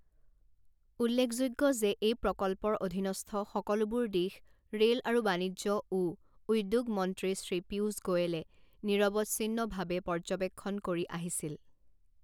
উল্লেখযোগ্য যে এই প্ৰকল্পৰ অধীনস্থ সকলোবোৰ দিশ ৰেল আৰু বাণিজ্য ও উদ্যোগ মন্ত্ৰী শ্ৰী পীয়ূষ গোয়েলে নিৰৱচ্ছিন্নভাৱে পৰ্যবেক্ষণ কৰি আহিছিল।